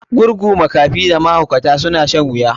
Gurgu, makafi da mahaukata suna shan wuya.